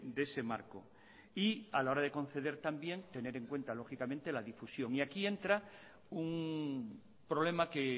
de ese marco y a la hora de conceder también tener en cuenta lógicamente la difusión y aquí entra un problema que